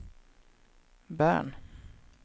Bern